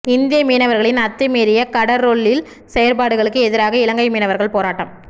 இந்திய மீனவர்களின் அத்துமீறிய கடற்றொழில் செயற்பாடுகளுக்கு எதிராக இலங்கை மீனவர்கள் போராட்டம்